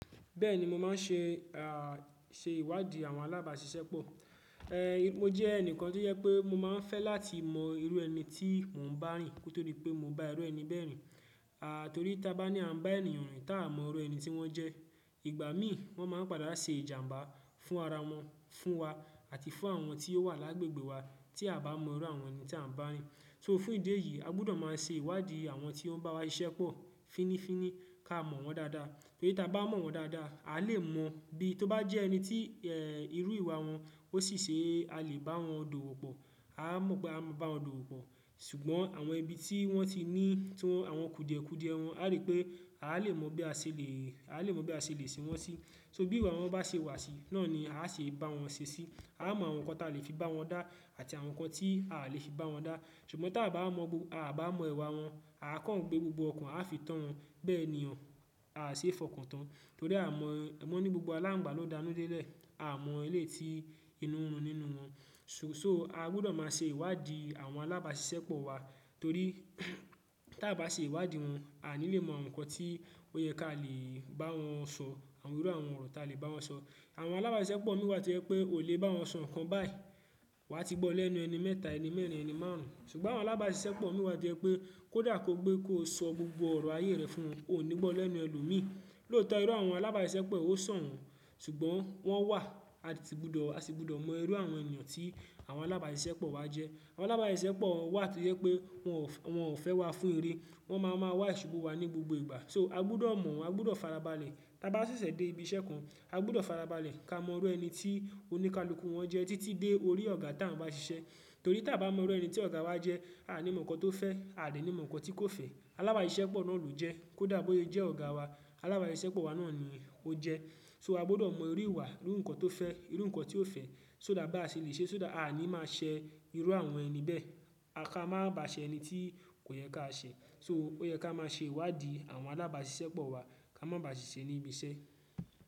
Bẹ́ẹ̀ni mo máa ń ṣe, ah ṣe ìwádìí àwọn alábàáṣiṣẹ́ pọ̀. Eh mo jẹ́ ẹnìkan tí ó jẹ pé mo máa ń fẹ́ láti mọ irú ẹni tí mò ń bá rìn, kò to di pé mo bá irú ẹni bẹ́ rìn. A torí ta bá ní à ń bá ènìyàn rìn tá a mọ irú ẹni tí wọ́n jẹ́, ìgbà mí wọ́n máa ń padà ṣe ìjàǹbá fún ara wọn, fún wa àti fún àwọn tí ó wà lágbègbè wa tí a bá mọ irú àwọn ẹni tí a ń bá rìn. So fún ìdí èyí, a gbọdọ̀ máa ṣe ìwádìí àwọn tí ó ń bá wa ṣiṣẹ́ pọ̀ fínnífínní ká mọ̀ wọ́n dáadáa. Bí ta bá mọ̀ wọ́n dáadáa, a lè mọ bí, tó bá jẹ́ ẹni tí eh irú ìwà wọn ó ṣi ṣe, a lè bá wọn dòwò pọ̀, a mọ̀ pé a máa bá wọn dòwò pọ̀. Ṣùgbọ́n, àwọn ibi tí wọ́n ti ní, tí àwọn kùdìẹ̀kùdìẹ wọn, a rí pé a lè mọ bí a ṣe lè, a lè mọ bí a ṣe lè ṣe wọ́n sí. So bí ìwà wọn bá ṣe wà sí, náà ni a ṣe bá wọn ṣe sí. A mọ àwọn nǹkan ta lè fi bá wọn dá àti àwọn nǹkan tí a lè fi bá wọn dá. Ṣùgbọ́n ta bá mọ gbogbo, a bá mọ ìwà wọn, a kàn gbé gbogbo ọkàn a fi tán wọn, bẹ́ẹ̀ ni ọ́, a ṣe fọkàn tán. Torí a mọ, wọn ní gbogbo aláǹgbá ló danú délẹ̀, a mọ eléyìí tí inú rùn nínú wọn. So, a gbọdọ̀ máa ṣe ìwádìí àwọn alábàáṣiṣẹ́ pọ̀ wa torí tí a bá ṣe ìwádìí wọn, a ní lè mọ nǹkan tí ó yẹ ká lè bá wọn sọ, àwọn irú àwọn ọ̀rọ̀ tá lè bá wọn sọ. Àwọn alábàáṣiṣẹ́ pọ̀ mì wá tó yẹ pé, ó lè bá wọn sọ ǹkan báyìí. Wà á ti gbọ́ lẹ́nu ẹni mẹ́ta, ẹni mẹ́rin, ẹni márùn. Ṣùgbọ́n àwọn alábàáṣiṣẹ́ pọ̀ mì wá tó jẹ pé kó dà kó gbé kó sọ gbogbo ọ̀rọ̀ ayé rẹ̀ fún wọn, ó níí gbọ́ lẹ́nu ẹlòmíí. Lóòótọ́ irú àwọn alábàáṣiṣẹ́ pọ̀ ó sàn wọ́n, ṣùgbọ́n wọ́n wà, a sì gbọdọ̀, a sì gbọdọ̀ mọ irú àwọn ènìyàn tí àwọn alábàáṣiṣẹ́ pọ̀ wa jẹ́. Àwọn alábàáṣiṣẹ́ pọ̀ wà tó jẹ pé wọ́n ò fẹ́, wọ́n ò fẹ́ wa fún iré, wọ́n má ma wà ìṣubú wa ní gbogbo ìgbà. So a gbọdọ̀ mọ̀ wọ́n, a gbọdọ̀ fara balẹ̀. Tá bá ṣẹ̀ṣẹ̀ dé ibi iṣẹ́ kan, a gbọdọ̀ fara balẹ̀ ká mọ irú ẹni tí oníkálukú wọn jẹ́ títí dé orí ọ̀gá tán bá ṣiṣẹ́. Torí ta bá mọ irú ẹni tí ọ̀gá wa jẹ́, a ní mọ nǹkan tó fẹ́, a dè ní mọ nǹkan tí kò fẹ́. Alábàáṣiṣẹ́ pọ̀ náà lò jẹ́ kó dà bó yé jẹ́ ọ̀gá wa, alábàáṣiṣẹ́ pọ̀ wa náà ni ó jẹ́. So a gbọdọ̀ mọ irú ìwà, irú nǹkan tó fẹ́, irú nǹkan tí ó fẹ́, só dà bá ṣe lè ṣe só dà a à ní máa ṣẹ irú àwọn ẹni bẹ́ẹ̀. A ká máa bá ṣẹ ẹni.